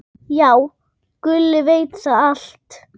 Já, Gulli veit þetta allt.